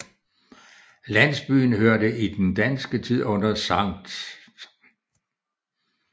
Landsbyen hørte i den danske tid under Sct